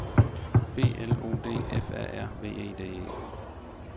B L O D F A R V E D E